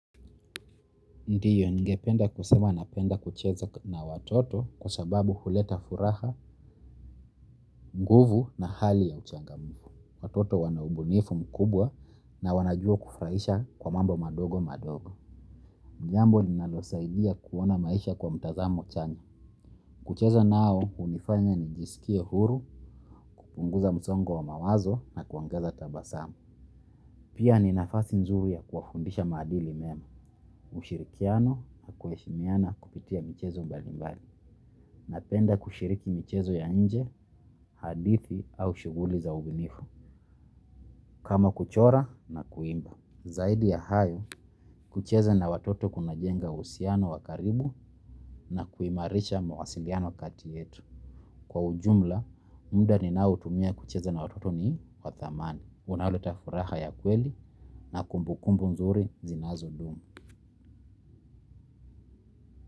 Ndiyo ningependa kusema napenda kucheza na watoto kwa sababu huleta furaha, nguvu na hali ya uchangamufu. Watoto wana ubunifu mkubwa na wanajua kufurahisha kwa mambo madogo madogo. Jambo linalosaidia kuona maisha kwa mtazamo chanya. Kucheza nao hunifanya nijisikie huru, hupunguza msongo wa mawazo na kuongeza tabasamu. Pia ni nafasi nzuri ya kuwafundisha maadili mema, ushirikiano na kueshimiana kupitia michezo mbalimbali. Napenda kushiriki michezo ya nje, hadithi au shughuli za ubunifu. Kama kuchora na kuimba. Zaidi ya hayo, kucheza na watoto kunajenga uhsiano wa karibu na kuimarisha mawasiliano kati yetu. Kwa ujumla, muda ninaoutumia kucheza na watoto ni wa thamani. Unaoleta furaha ya kweli na kumbukumbu nzuri zinazodumu.